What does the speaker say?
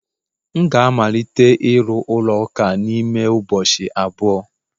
M ga-amalite ịru ụlọ ụka a n'ime ụbọchị abụọ